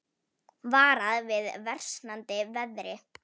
Varað við versnandi veðri